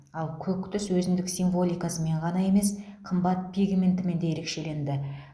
ал көк түс өзіндік символикасымен ғана емес қымбат пигментімен де ерекшеленді